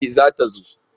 E! za ta zo.